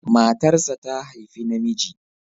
Matarsa ta haifi namiji.